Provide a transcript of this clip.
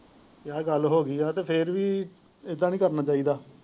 ਜੇ ਗੱਲ ਹੋ ਗਈ ਹੈ ਤੇ ਫੇਰ ਵੀ ਐਦਾਂ ਨਹੀਂ ਕਰਨਾ ਚਾਹੀਦਾ।